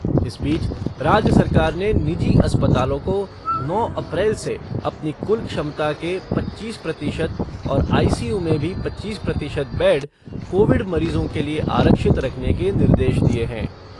इस बीच राज्य सरकार ने निजी अस्पतालों को नौ अप्रैल से अपनी कुल क्षमता के पच्चीस प्रतिशत और आईसीयू में भी पच्चीस प्रतिशत बेड कोविड मरीजों के लिए आरक्षित रखने के निर्देश दिए हैं।